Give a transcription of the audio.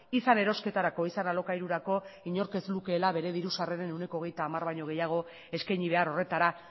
izan erosketarako izan alokairurako inork ez lukeela bere diru sarreren ehuneko hogeita hamar baino gehiago eskaini behar horretara